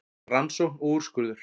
Rannsókn og úrskurður